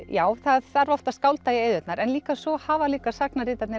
já það þarf oft að skálda í eyðurnar en líka svo hafa líka